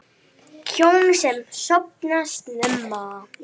Hjón sem sofna snemma